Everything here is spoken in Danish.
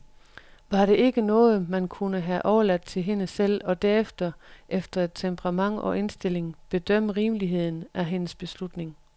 Var det ikke noget, man kunne have overladt til hende selv, og derefter, efter temperament og indstilling, bedømme rimeligheden af hendes beslutning?